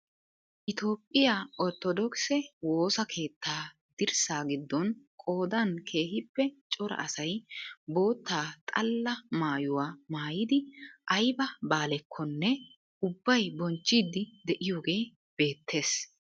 Itophphiyaa orttodookisee woosa keettaa dirssa giddon qoodan keehippe cora asay bootta xaalla maayuwaa maayidi ayba baalekonne ubbay bonchchiidi de'iyoogee beettees.